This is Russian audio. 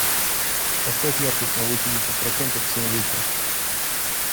поставь яркость на восемьдесят процентов в семь вечера